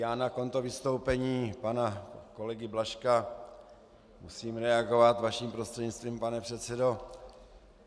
Já na konto vystoupení pana kolegy Blažka musím reagovat vaším prostřednictvím, pane předsedo.